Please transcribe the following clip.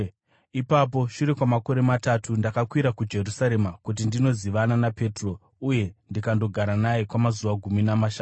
Ipapo shure kwamakore matatu, ndakakwira kuJerusarema kuti ndinozivana naPetro uye ndikandogara naye kwamazuva gumi namashanu.